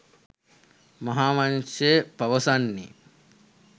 මහාවංශය පවසන්නේ